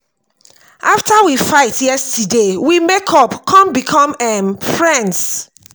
after we fight yesterday we make up come become um friends